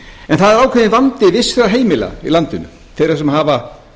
en það er ákveðinn vandi vissra heimila í landinu þeirra sem hafa